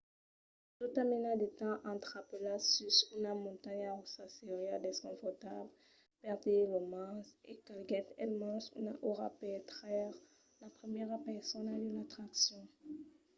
tota mena de temps entrapelat sus una montanha russa seriá desconfortable per dire lo mens e calguèt almens una ora per traire la primièra persona de l'atraccion.